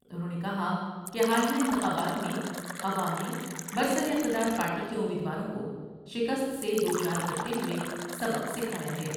انھوں نے کہا کہ حالیہ انتخابات میں عوام نے برسراقتدار پارٹی کے امیدواروں کو شکست سے دو چار کرتے ہوۓ سبق سکھا یا ہے ۔